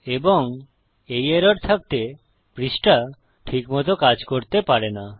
এবং এই এরর থাকতে পৃষ্ঠা ঠিক মত কাজ করতে পারে না